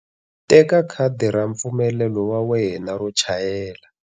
Teka khadi ra mpfumelelo wa wena wo chayela.